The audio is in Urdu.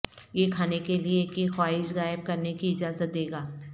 یہ کھانے کے لئے کی خواہش غائب کرنے کی اجازت دے گا